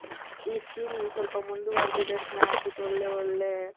ಈ scheme ಸ್ವಲ್ಪ ಮುಂದುವರೆದಿದ್ದರೆ ಚೆನ್ನಾಗಿರುತಿತ್ತು ಒಳ್ಳೆ ಒಳ್ಳೆ